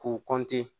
K'u